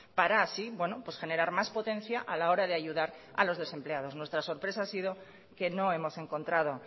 para así generar más potencia a la hora de ayudar a los desempleados nuestra sorpresa ha sido que no hemos encontrado